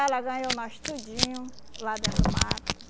ganhou nós tudinho lá dentro do mato.